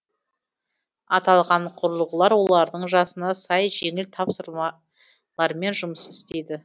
аталған құрылғылар олардың жасына сай жеңіл жұмыс істейді